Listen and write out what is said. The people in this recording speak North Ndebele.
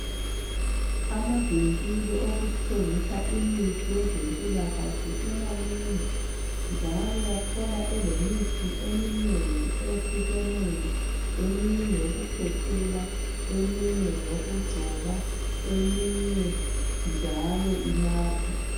Amavinkili okuthengisa imithi yezempilakahle semanengi njalo uyathola elemithi eminengi eyehlukeneyo, eminye ingeyokukhwehlela, eminye ngeyokugcoba eminye njalo inathwala.